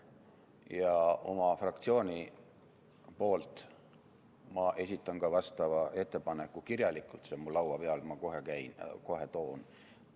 Ja oma fraktsiooni poolt ma esitan ka vastava ettepaneku kirjalikult – see on mul laua peal, ma kohe toon.